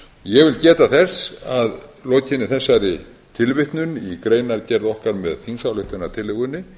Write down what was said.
ég vil geta þess að lokinni þessari tilvitnun í greinargerð okkar með þingsályktunartillögunni